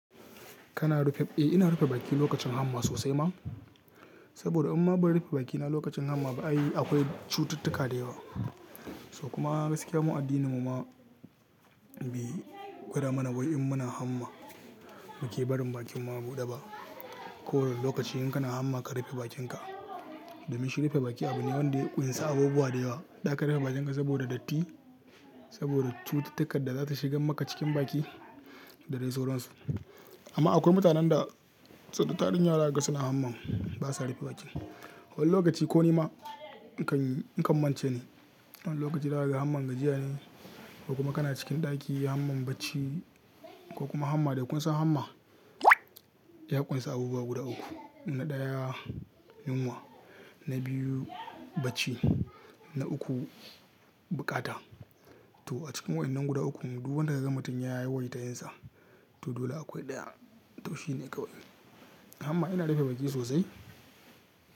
Kana rufe, eh ina rufe baki lokacin hamma sosai ma. Saboda in ma ban rufe bakina lokacin hamma ba, ai akwai cututtuka da yawa. To kuma gaskiya, mu addininmu ma bai, gwada mana wai in muna hamma muke barin bakin mu a buɗe ba. Ko wane lokaci in kana hamma ka rufe bakinka. Domin shi rufe baki abu ne wanda ya ƙunsa abubuwa da yawa. Zaka rufe bakinka saboda datti, saboda cututtukar da zata shiga maka cikin baki da dai sauransu. Amma akwai mutanen da, da tarinyawa zakaga suna hamman basa rufe baki. Wani lokaci ko nima ni kan, nikan mance ne. Wani lokaci zaka hamma gajiya ne ko kuma kana cikin ɗaki, hamma bacci ko kuma hamma da kun sa hamma ya ƙunsa abubuwa guda uku. Na ɗaya yunwa, na biyu bacci, na uku buƙata. Wani lokaci da aka hamma gajiya ne ko kuma kana cikin ɗaki, hamma bacci ko kuma hamma da kun sa hamma to dole akwai ɗaya. Ya ƙunsa abubuwa guda uku. Na ɗaya yunwa, na biyu bacci, na uku buƙata.